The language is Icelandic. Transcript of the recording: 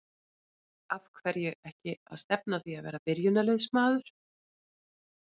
Af hverju ekki að stefna að því að vera byrjunarliðsmaður?